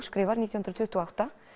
skrifar nítján hundruð tuttugu og átta